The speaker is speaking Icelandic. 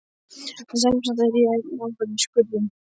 En semsagt: ég er enn ofan í skurðum.